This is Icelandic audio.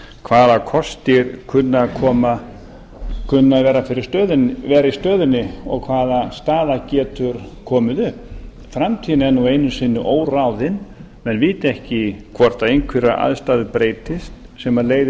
hvaða kostir kunni að vera í stöðunni og hvaða staða getur komið upp framtíðin er nú einu sinni óráðin menn vita ekki hvort einhverjar aðstæður breytist sem leiði